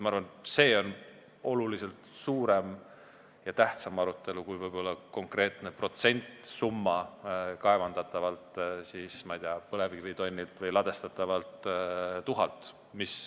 Ma arvan, et see on suurem ja tähtsam aruteluteema kui konkreetne protsent või summa kaevandatavalt põlevkivitonnilt või ladestatavalt tuhalt.